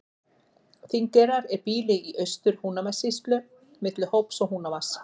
Þingeyrar er býli í Austur-Húnavatnssýslu milli Hóps og Húnavatns.